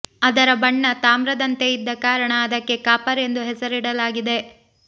ಅದರ ಬಣ್ಣ ತಾಮ್ರದಂತೆ ಇದ್ದ ಕಾರಣ ಅದಕ್ಕೆ ಕಾಪರ್ ಎಂದು ಹೆಸರಿಡಲಾಗಿದೆ